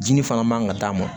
Dimi fana man kan ka d'a ma